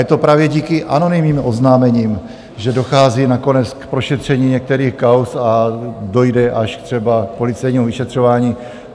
Je to právě díky anonymním oznámením, že dochází nakonec k prošetření některých kauz, a dojde až třeba k policejnímu vyšetřování.